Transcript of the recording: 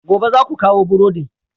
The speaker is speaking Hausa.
Gobe, za ku kawo burodin!